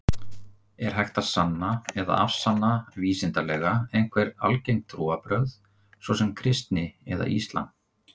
Er hægt að sanna eða afsanna vísindalega einhver algeng trúarbrögð, svo sem kristni eða islam?